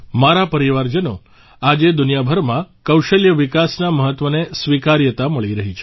મારા પરિવારજનો આજે દુનિયાભરમાં કૌશલ્ય વિકાસના મહત્ત્વને સ્વીકાર્યતા મળી રહી છે